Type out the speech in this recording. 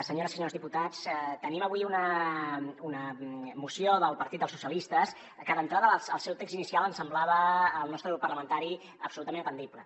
senyores i senyors diputats tenim avui una moció del partit dels socialistes que d’entrada el seu text inicial ens semblava al nostre grup parlamentari absolutament atendible